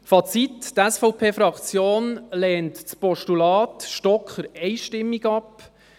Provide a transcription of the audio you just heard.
Fazit: Die SVP-Fraktion lehnt das Postulat Stocker einstimmig ab.